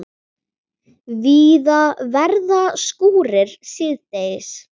Víða verða skúrir síðdegis